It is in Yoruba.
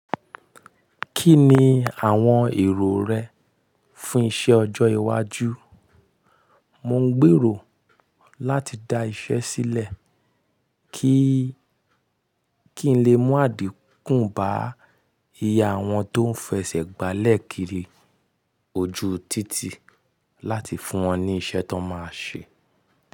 Kí ni àwọn èrò rẹ fún iṣẹ́ ọjọ́ iwájú? Mò ń gbèrò láti da iṣẹ́ sílẹ̀ kí-kí n lè mú àdínkù bá iye àwọn tó ń fẹsẹ̀ gbálẹ̀ kiri ojú títì láti fún wọn ní iṣẹ́ tó máa ṣe.